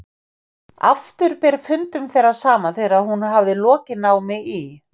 Aftur ber fundum þeirra saman þegar hún hafði lokið námi í